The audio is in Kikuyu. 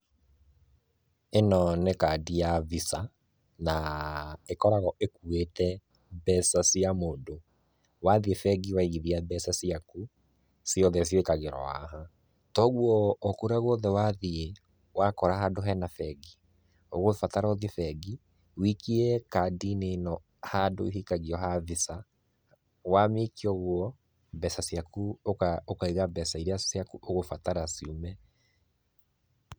Ĩno nĩ kandi ya Visa, na ĩkoragwo ĩkuĩte mbeca cia mũndũ, wathiĩ bengi waigithia mbeca ciaku, ciothe ciĩkagĩrwo haha, toguo o kũrĩa guothe wathiĩ, wakora handũ hena bengi, ũgũbatara ũthiĩ bengi, ũikie kandi ĩno handũ ĩikagio ha Visa, wamĩikia ũguo mbeca ciaku ũkaiga mbeca iria ciaku ũgũbatara ciume.